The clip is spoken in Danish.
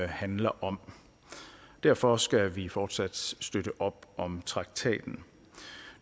handler om derfor skal vi fortsat støtte op om traktaten